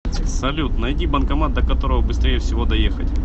салют найди банкомат до которого быстрее всего доехать